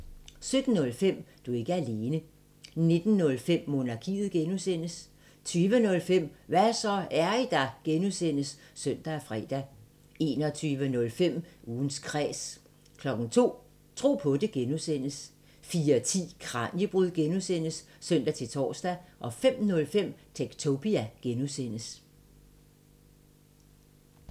17:05: Du er ikke alene 19:05: Monarkiet (G) 20:05: Hva' så, er I der? (G) (søn og fre) 21:05: Ugens Kræs 02:00: Tro på det (G) 04:10: Kraniebrud (G) (søn-tor) 05:05: Techtopia (G)